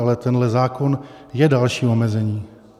Ale tenhle zákon je dalším omezením.